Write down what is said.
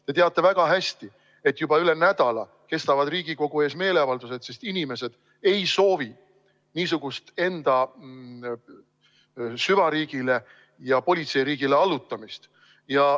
Te teate väga hästi, et juba üle nädala kestavad Riigikogu ees meeleavaldused, sest inimesed ei soovi niisugust enda süvariigile ja politseiriigile allutamist.